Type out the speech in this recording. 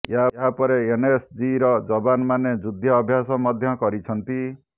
ଏହାପରେ ଏନଏସଜିର ଯବାନ୍ ମାନେ ଯୁଦ୍ଧ ଅଭ୍ଯାସ ମଧ୍ଯ କରିଛନ୍ତି